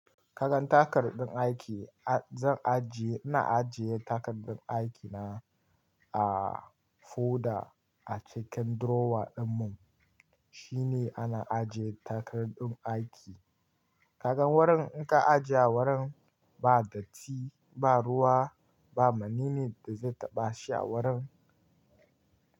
Kagan takardun aiki, zan ajiye, ina ajiye takardun aikina a folder a cikin drawer dinmu. Shine ana ajiye takardun aiki. Kagan wurin in ka ajiye wurin ba datti, ba ruwa, ba menene da zai taɓa shi a warin.